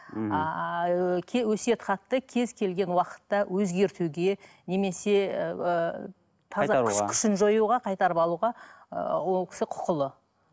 мхм а ыыы өсиет хатты кез келген уақытта өзгертуге немесе ыыы күшін жоюға қайтарып алуға ы ол кісі құқылы